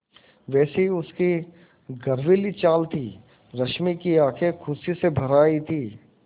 वैसी ही उसकी गर्वीली चाल थी रश्मि की आँखें खुशी से भर आई थीं